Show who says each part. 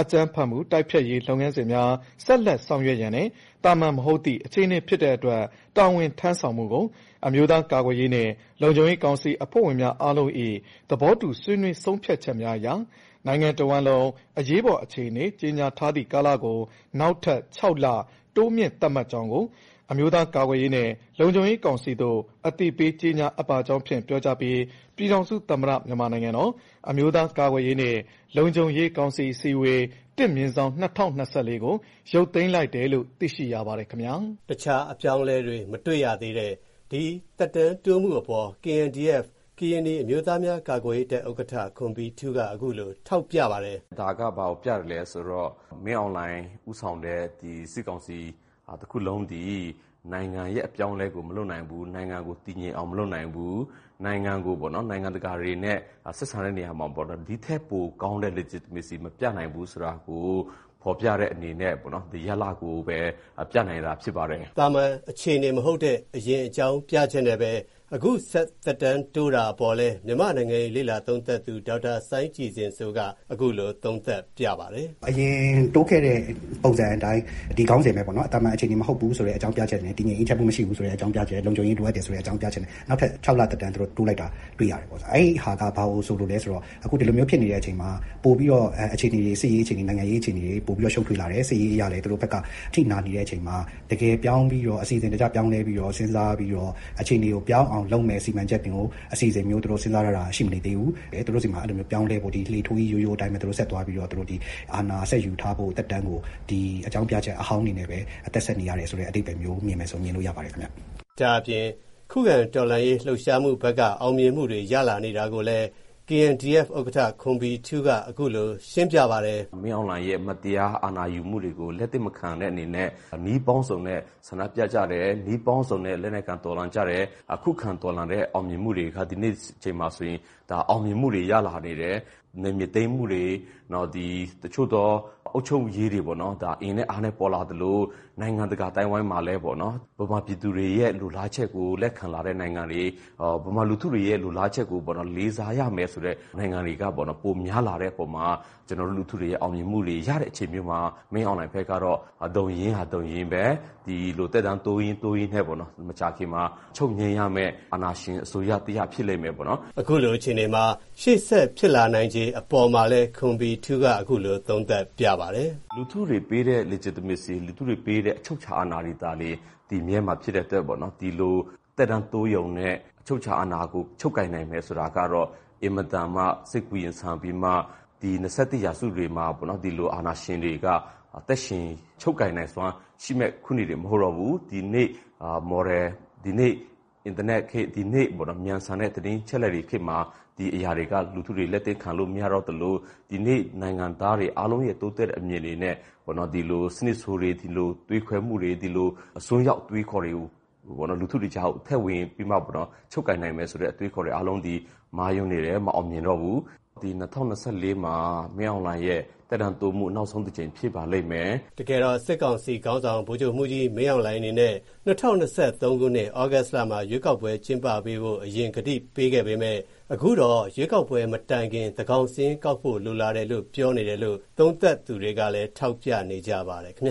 Speaker 1: အကြမ်းဖက်မှုတိုက်ဖျက်ရေးလုပ်ငန်းစဉ်များ ဆက်လက်ဆောင်ရွက်ရန်နဲ့ သာမာန်မဟုတ်သည့် အခြေအနေဖြစ်တဲ့အတွက် တာဝန်ထမ်းဆောင်မှုကို အမျိုးသားကာကွယ်ရေးနဲ့ လုံခြုံရေးကောင်စီအဖွဲ့ဝင်များ အားလုံး၏ သဘောတူဆွေးနွေးဆုံးဖြတ်ချက်များအရ နိုင်ငံတဝန်းလုံးအရေးပေါ် အခြေအနေ ကြေညာထားသည့်ကာလကို နောက်ထပ် ၆ လ တိုးမြှင့်သတ်မှတ်ကြောင်းကို အမျိုးသားကာကွယ်ရေးနဲ့ လုံခြုံရေးကောင်စီသို့ အသိပေးကြေညာအပ်ပါကြောင်းဖြင့် ပြောကြားပြီး ပြည်ထောင်စုသမ္မတ မြန်မာနိုင်ငံတော် အမျိုးသား ကာကွယ်ရေးနဲ့ လုံခြုံရေးကောင်စီ အစည်းအဝေး ၁/၂၀၂၄ ကိုရုတ်သိမ်းလိုက်တယ်လို့ သိရှိရပါတယ်ခင်ဗျာ
Speaker 2: " တခြားအပြောင်းအလဲမတွေ့ရသေးတဲ့ ဒီသက်တမ်းထပ်တိုးမှုအပေါ် KNDF ကရင်နီ အမျိုးသားများကာကွယ်ရေးတပ် ဥက္ကဋ္ဌ ခွန်ဘီထူးက အခုလို ထောက်ပြပါတယ်။
Speaker 3: "ဒါကဘာကိုပြသလဲဆိုတော့ မင်းအောင်လှိုင်ဦးဆောင်တဲ့ စစ်ကောင်စီတခုလုံးသည် နိုင်ငံရဲ့အပြောင်းအလဲကိုမလုပ်နိုင်ဘူး နိုင်ငံကိုတည်ငြိမ်အောင်မလုပ်နိုင်ဘူး၊ နိုင်ငံကို နိုင်ငံတကာတွေနဲ့ ဆက်ဆံတဲ့နေရာမှာ ဒီထက်ပိုကောင်းတဲ့ legitamacy မပြနိုင်ဘူးဆိုတာကို ဖော်ပြတဲ့အနေနဲ့ ဒီရလာဒ်ကိုပဲ ပြနိုင်တာဖြစ်ပါတယ်။
Speaker 2: " သာမန်အခြေအနေမဟုတ်တဲ့ အရင်အကြောင်းပြချက်နဲ့ပဲ အခုဆက်သက်တမ်းတိုးတာအပေါ်လည်း မြန်မာ့နိုင်ငံရေးလေ့လာသုံးသပ်သူ ဒေါက်တာ စိုင်းကြည်ဇင်စိုးကလည်း အခုလို သုံးသပ်ပြပါတယ်။
Speaker 4: "အရင်တိုးခဲ့တဲ့ ပုံစံအတိုင်း ဒီခေါင်းစဉ်ပဲပေါ့နော် သာမာန်အခြေအနေမဟုတ်ဘူး ဆိုတဲ့ အကြောင်းပြချက်နဲ့ တည်ငြိမ်အေးချမ်းမှု မရှိဘူးဆိုတဲ့အကြောင်းပြချက်၊ လုံခြုံရေးလိုအပ်တယ်ဆိုတဲ့ အကြောင်းပြချက်နဲ့ နောက်ထပ် ၆ လသက်တမ်းတိုးလိုက်တာတွေ့ရတယ်။ အဲဒီဟာက ဘာကိုဆိုလိုလဲဆိုတော့ အခုဒီလိုမျိုးဖြစ်နေတဲ့ အချိန်မှာ ပိုပြီးတော့ စစ်ရေးအခြေအနေ၊ နိုင်ငံရေးအခြေအနေတွေ ပိုပြီးတော့ ရှုပ်ထွေးလာတယ်။ စစ်ရေးအရလည်း သူတို့ဖက်ကအထိနာနေတဲ့အချိန်မှာ အစီအစဉ်တကျ ပြောင်းလဲပြီးတော့ စဉ်းစားပြီး အခြေအနေကိုပြောင်းအောင်လုပ်မဲ့ စီမံချက် အစီအစဉ်မျိုး စဉ်းစားထားတာ ရှိမနေသေးဘူး သူတို့ဆီမှာ အဲလိုပြောင်းလဲဖို့ လှေထိုးကြီး ရိုးရိုးအတိုင်းပဲ ဆက်သွားပြီးတော့ သူတို့အာဏာ ဆက်ယူထားဖို့ သက်တမ်းကို အကြောင်းပြချက်အဟောင်းတွေနဲ့ပဲ အသက်ဆက်နေရတယ်ဆိုတဲ့ အဓိပ္ပါယ်မျိုး မြင်မယ်ဆိုရင် မြင်လို့ရပါတယ်။
Speaker 2: " ဒါ့အပြင် ခုခံတော်လှန်ရေးလှုပ်ရှားမူဘက်က အောင်မြင်မူတွေရနေတာကိုလည်း KNDF ဥက္ကဌ ခွန်ဘီထူးက အခုလို ရှင်းပြပါတ
Speaker 3: ယ်။ "မင်းအောင်လှိုင်ရဲ့ မတရား အာဏာယူမှုတွေကို လက်သင့်မခံတဲ့အနေနဲ့ နည်းပေါင်းစုံနဲ့ လက်နက်ကိုင်တော်လှန်ကြတယ်။ ခုခံတော်လှန်တဲ့အောင်မြင်မှုတွေက ဒီနေ့အချိန်မှာဆိုရင် အောင်မြင်မှုတွေရလာနေတယ်။ နယ်မြေသိမ်းမှုတွေ တချို့သော အုပ်ချုပ်ရေးတွေကို အင်နဲ့အားနဲ့ပေါ်လာသလို နိုင်ငံတကာအသိုင်းအဝိုင်းမှာလည်း မြန်မာပြည်သူတွေရဲ့ လိုလားချက်ကို လက်ခံလာတဲ့နိုင်ငံတွေ ၊ မြန်မာလူထုတွေရဲ့ လိုလားချက်ကို လေးစားရမယ်ဆိုတဲ့ နိုင်ငံတွေက ပိုများလာတဲ့အပေါ်မှာ ကျွန်တော်တို့လူထုတွေရဲ့အောင်မြင်မှုတွေ ရတဲ့အချိန်မျိုးမှာ မင်းအောင်လှိုင်ဘက်ကတော့ ဒုံရင်းဟာ ဒုံရင်းပဲ၊ ဒီလိုသက်တမ်းတိုးရင်းနဲ့ မကြာခင်မှာချုပ်ငြိမ်းရမဲ့ အာဏာရှင်အစိုးရတရပ်ဖြစ်လိမ့်မယ်ပေါ့နော်
Speaker 2: " အခုလို အခြေအနေမှာ ရှေ.ဆက်ဖြစ်လာနိုင်ခြေအပေါ်မှာလည်း ခွန်ဘီထူးက အခုလို သုံးသပ်
Speaker 3: ပြပါတယ်။ "လူထုတွေပေးတဲ့ legitimacy၊ လူထုတွေပေးတဲ့ အချုပ်အခြာအာဏာတွေသာလျှင် တည်မြဲမှာဖြစ်တဲ့အတွက် ဒီလိုသက်တမ်းတိုးရုံနဲ့ အချုပ်အခြာအာဏာကို ချုပ်ကိုင်နိုင်မယ်ဆိုတာကတော့ အင်မတန်မှ စိတ်ကူးယဉ်ဆန်ပြီးမှ ဒီ ၂၁ ရာစုမှာ ဒီလိုအာဏာရှင်တွေက သက်ရှင်ချုပ်ကိုင်နိုင်စွမ်းရှိမဲ့ ခုနှစ်တွေမဟုတ်တော့ဘူး ဒီနေ့ မြန်ဆန်တဲ့ သတင်းအချက်အလက်ခေတ်မှာ ဒီအရာတွေက လူထုတွေ လက်သင့်ခံလို့မရတော့သလို ဒီနေ့ နိုင်ငံသားတွေအားလုံးရဲ့ တိုးတက်တဲ့အမြင်တွေနဲ့ ဒီလို စနစ်ဆိုးတွေ ဒီလို သွေးခွဲမှုတွေ ဒီလိုအစွန်းရောက်အတွေးအခေါ်တွေကို လူထုတွေကြားကို ထည့်ဝင်ပြီးမှာပေါ့နော် ချုပ်ကိုင်နိုင်မယ်ဆိုတဲ့ အတွေးအခေါ်တွေအားလုံးသည် မှားယွင်းနေတယ်၊ မအောင်မြင်တော့ဘူး ဒီ ၂
Speaker 2: ၀၂၄ မှာ မင်းအောင်လှိုင်ရဲ့ သက်တမ်းတိုးမှု နောက်ဆုံးတကြိမ်ဖြစ်ပါလိမ့်မယ် " စစ်ကောင်စီခေါင်းဆောင် ဗိုလ်ချုပ်မှုးကြီးမင်းအောင်လှိုင်အနေနဲ့ ၂၀၂၃ ခုနှစ် သြဂုတ်လမှာ ရွေးကောက်ပွဲကျင်းပပေးဖို့ အရင် ကတိပေးခဲ့ပေမဲ့ အခုတော့ ရွေးကောက်ပွဲမတိုင်ခင် သန်းကောင်စာရင်းကောက်ဖို့လိုလာတယ်လို့ပြောနေတယ်လို့ သုံးသပ်သူတွေကလည်း ထောက်ပြနေကြပါတယ် ခင်ဗျ